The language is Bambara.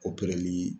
Opereli